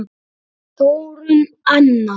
Þórunn Anna.